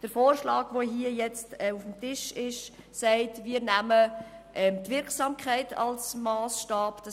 Die vorliegende Motion will die Wirksamkeit als Massstab nehmen.